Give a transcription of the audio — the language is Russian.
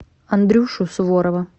андрюшу суворова